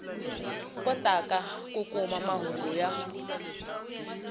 kotaka ku kuma mahungu ya